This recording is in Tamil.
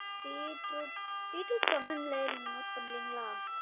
பீட்ரூட் பீட்ரூட் சொன்னன்ல நீங்க note பண்றீங்களா?